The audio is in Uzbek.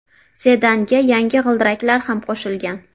Sedanga yangi g‘ildiraklar ham qo‘shilgan.